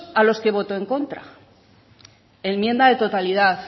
a los que votó en contra enmienda de totalidad